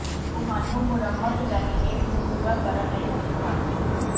ਤੁਹਾਨੂੰ ਮੁਰੰਮਤ ਲੈਮੀਨੇਟ ਨੂੰ ਪੂਰਾ ਕਰਨ ਲਈ ਮੁਫ਼ਤ ਹਨ